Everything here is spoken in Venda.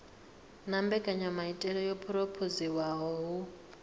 na mbekanyamaitele yo phurophoziwaho hu